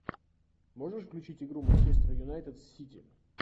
можешь включить игру манчестер юнайтед сити